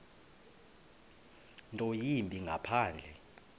nto yimbi ngaphandle